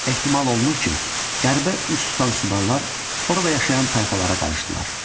Ehtimal olunur ki, qərbə üz tutan Subarlar orada yaşayan tayfalara qarışdılar.